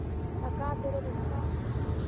Það gat verið hvað sem var.